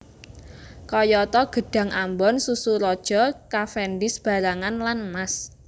Kayata gedhang ambon susu raja cavendish barangan lan mas